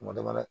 Ma dɛ